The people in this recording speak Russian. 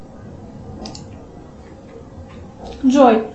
джой